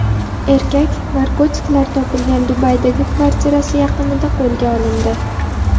Erkak narkotiklar topilgan Dubaydagi kvartirasi yaqinida qo‘lga olindi.